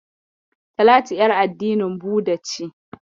Talatu ƴar addinin Buda ce